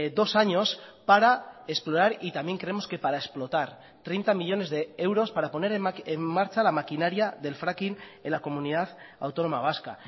dos años para explorar y también creemos que para explotar treinta millónes de euros para poner en marcha la maquinaria del fracking en la comunidad autónoma vasca